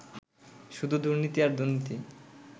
শুধু দুর্নীতি আর দুর্নীতি